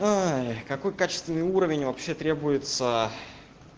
какой качественный уровень вообще требуется